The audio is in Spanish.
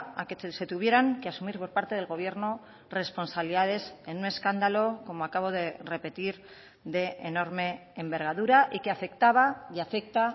a que se tuvieran que asumir por parte del gobierno responsabilidades en un escándalo como acabo de repetir de enorme envergadura y que afectaba y afecta